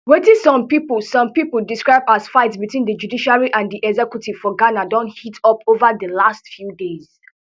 wetin some pipo some pipo describe as fight between di judiciary and di executive for ghana don heat up ova di last few days